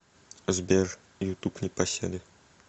сбер на ютуб непоседы